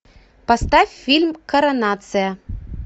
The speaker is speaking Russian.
поставь фильм коронация